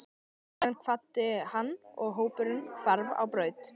Síðan kvaddi hann og hópurinn hvarf á braut.